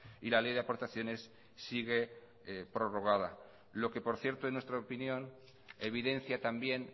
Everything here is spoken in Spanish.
y la ley de aportaciones sigue prorrogada lo que por cierto en nuestra opinión evidencia también